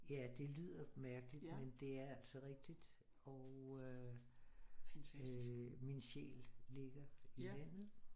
Ja det lyder mærkeligt men det er altså rigtigt og øh min sjæl ligger i landet